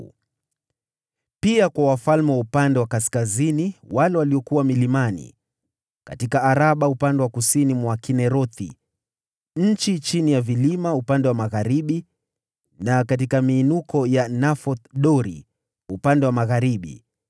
na pia kwa wafalme wa upande wa kaskazini wale waliokuwa milimani, katika Araba upande wa kusini mwa Kinerethi, kwenye shefela, upande wa magharibi na katika miinuko ya Nafoth-Dori upande wa magharibi;